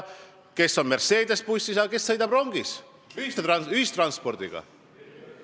Kes on Mercedese bussis, aga kes sõidab rongis, ühistranspordiga.